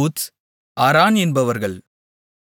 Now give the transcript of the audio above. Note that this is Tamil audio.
ஊத்ஸ் அரான் என்பவர்கள்